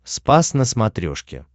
спас на смотрешке